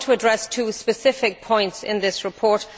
I want to address two specific points in this report.